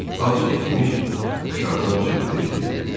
Az keçmiş, aşağıdan cığırtı eşidildi.